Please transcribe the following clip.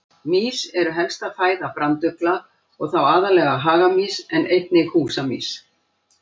Mýs eru helsta fæða brandugla og þá aðallega hagamýs en einnig húsamýs.